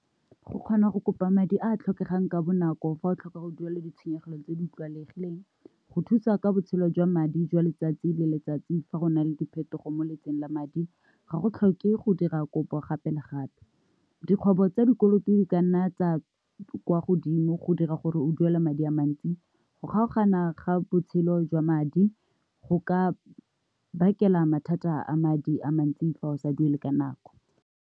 Go kgona go kopa madi a a tlhokegang ka bonako fa o tlhoka go duela ditshenyegelo tse di tlwaelegileng, go thusa ka botshelo jwa madi jwa letsatsi le letsatsi fa go na le diphetogo mo lephateng la madi ga go tlhoke go dira kopo gape le gape. Dikgwebo tsa dikoloto di kanna tsa kwa godimo go dira gore o duela madi a mantsi, go kgaogana ga botshelo jwa madi go ka bakela mathata a madi a mantsi fa o sa duele ka nako.